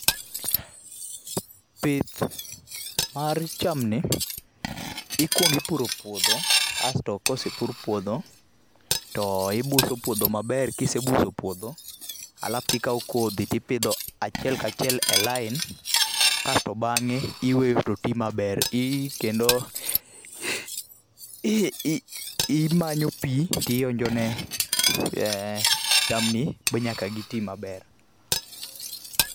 Pith mar chamni, ikwongo ipuro puodho, kasto kosepur puodho, to ibuso puodho maber. Kisebuso puodho, alafto ikawo kodhi, tipidho achiel ka achiel e line kasto bangé iweyo to ti maber. kendo imanyo pi, tionjone e chamni, ma nyaka giti maber.